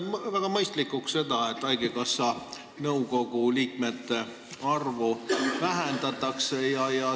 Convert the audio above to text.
Ma pean väga mõistlikuks, et haigekassa nõukogu liikmete arvu vähendatakse.